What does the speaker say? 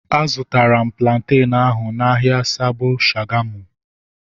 A zụtara m plantenu ahu n'ahia Sabo Shagamu